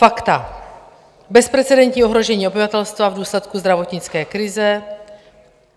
Fakta: bezprecedentní ohrožení obyvatelstva v důsledku zdravotnické krize.